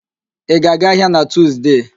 Ị ga-aga ahịa na Tuuzde?